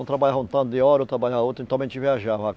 Um trabalhava um tanto de hora, o outro trabalhava outro, a gente viajava.